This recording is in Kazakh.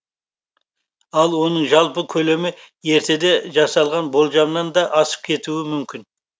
ал оның жалпы көлемі ертеде жасалған болжамнан да асып кетуі мүмкін